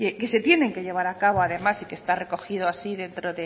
que se tienen que llevar a cabo además y que está recogido así dentro